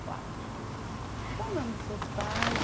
quatro qual o nome dos seus pais?